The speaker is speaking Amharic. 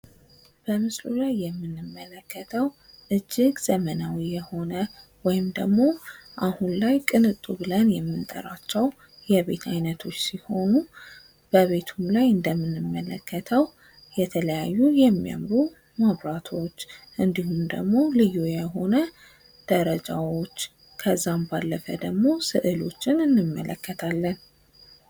በምስሉ ላይ የምንመለከተው እጅግ ዘመናዊ የሆነ ወይም ደግሞ ቅንጡ ብለን የምንጠራቸው የቤት አይነቶች ሲሆኑ በቤቱም ላይ እንደምንመለከተው የተለያዩ የሚያምሩ መብራቶች እንዲሁም ደግሞ ልዩ የሆነ ደረጃዎች ከዛም ባለፈ ደግሞ ሥዕሎችን እንመለከታለን::